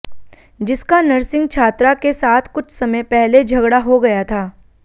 जिसका नर्सिंग छात्रा के साथ कुछ समय पहले झगड़ा हो गया था